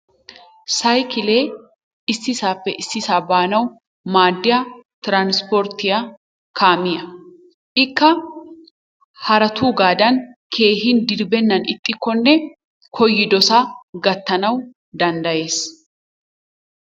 Saykilee issisaappe issisaa baanawu maaddiya transpporttiya kaammiya. Ikka haratuugaadan keehi dirbbenan ixxikonne koyidosaa gatanawu dandayees.